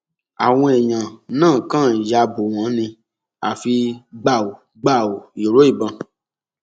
àwọn èèyàn náà kàn ya bò wọn ni àfi gbàù gbàù ìró ìbọn